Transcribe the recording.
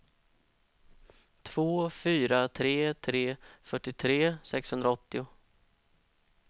två fyra tre tre fyrtiotre sexhundraåttio